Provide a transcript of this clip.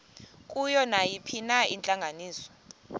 kuyo nayiphina intlanganiso